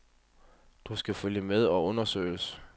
Du skal følge med og undersøges.